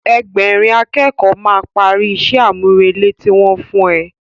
Ẹgbẹ̀rin a kẹ́kọ̀ọ́ máa parí ìṣe àmúrelé tí wọ́n fún ẹ